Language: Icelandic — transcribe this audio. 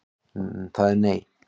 Það er nei.